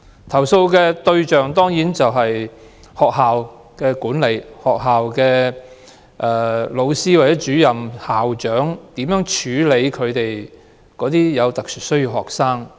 投訴對象當然是學校的管理層、教師、主任或校長，並關乎他們如何處理有特殊需要的學生。